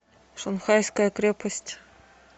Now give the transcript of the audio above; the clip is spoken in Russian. шанхайская крепость